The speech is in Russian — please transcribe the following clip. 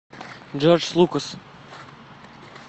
джордж лукас